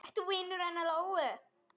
Ert þú vinur hennar Lóu?